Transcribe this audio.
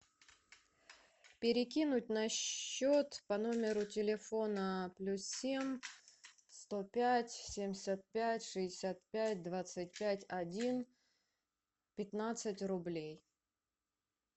перекинуть на счет по номеру телефона плюс семь сто пять семьдесят пять шестьдесят пять двадцать пять один пятнадцать рублей